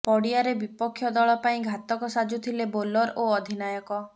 ପଡିଆରେ ବିପକ୍ଷ ଦଳ ପାଇଁ ଘାତକ ସାଜୁଥିଲେ ବୋଲର ଓ ଅଧିନାୟକ